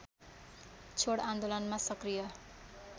छोड आन्दोलनमा सक्रिय